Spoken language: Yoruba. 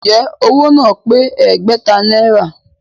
Ǹjẹ́ owó náà pé Ẹgbẹ̀ta náírà?